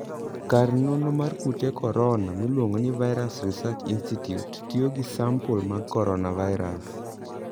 kar nonro mar kute coronoa miluongo ni Virus Research Institute tiyo gi sampul mag Coronavirus.